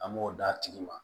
An b'o d'a tigi ma